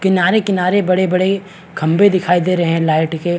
किनारे - किनारे बड़े - बड़े खभे दिखाई दे रहे है लाइट के --